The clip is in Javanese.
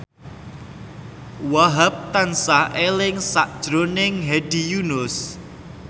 Wahhab tansah eling sakjroning Hedi Yunus